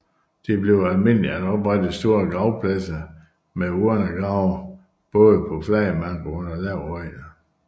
Det blev almindeligt at oprette store gravpladser med urnegrave både på flad mark og under lave høje